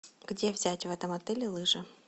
где взять в этом отеле лыжи